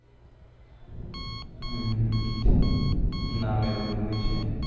નામ એનું ભૂમિ છે'